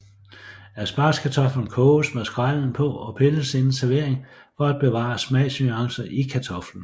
Aspargeskartoflen koges med skrællen på og pilles inden servering for at bevare smagsnuancer i kartoflen